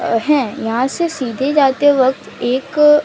अ हैं यहां से सीधे जाते वक्त एक--